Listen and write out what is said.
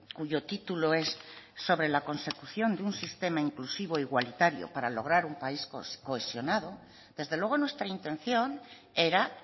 cuyo título es sobre la consecución de un sistema inclusivo igualitario para lograr un país cohesionado desde luego nuestra intención era